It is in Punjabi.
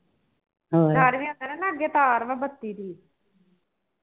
ਅੱਗੇ ਤਾਰ ਵਾ ਬੱਤੀ ਦੀ